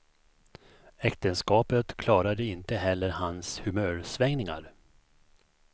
Äktenskapet klarade inte heller hans humörsvängningar.